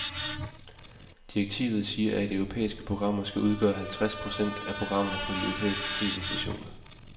Direktivet siger, at europæiske programmer skal udgøre halvtreds procent af programmerne på de europæiske tv-stationer.